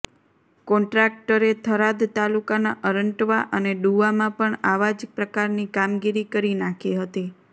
કોન્ટ્રાક્ટરે થરાદ તાલુકાના અરંટવા અને ડુવામાં પણ આવા જ પ્રકારની કામગીરી કરી નાખી હતી